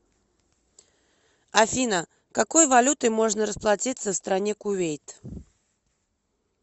афина какой валютой можно расплатиться в стране кувейт